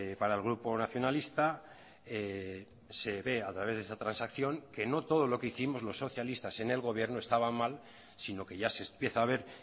para el grupo nacionalista se ve a través de esa transacción que no todo lo que hicimos los socialistas en el gobierno estaba mal sino que ya se empieza a ver